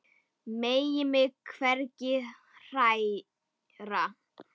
Megi mig hvergi hræra.